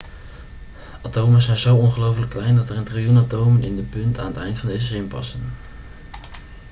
atomen zijn zo ongelooflijk klein dat er een triljoen atomen in de punt aan het eind van deze zin passen